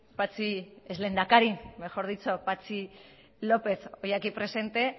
patxi ex lehendakari mejor dicho patxi lópez hoy aquí presente